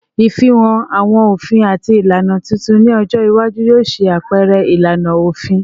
Ifihan awọn ofin ati ilana titun ni ọjọ iwaju yoo ṣe apẹrẹ ilana ofin